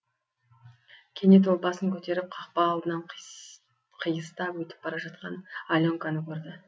кенет ол басын көтеріп қақпа алдынан қиыстап өтіп бара жатқан аленканы көрді